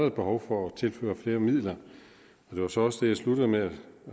et behov for at tilføre flere midler og det var så også det jeg sluttede med at